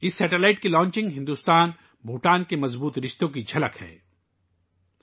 اس satellite کی launching Bharat Bhutan کے مضبوط تعلقات کی عکاس ہے